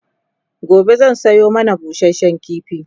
gobe zan Sayo mana busashen kifi